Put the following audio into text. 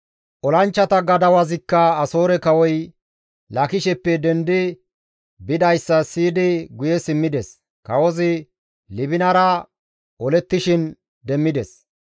Olanchchata gadawazikka Asoore kawoy Laakisheppe dendi bidayssa siyidi guye simmides; kawozi Libinara olettishin demmides.